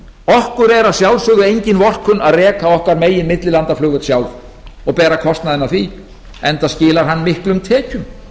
okkur er að sjálfsögðu engin vorkunn að reka okkar eigin millilandaflugvöll sjálf og bera kostnaðinn af því enda skilar hann miklum tekjum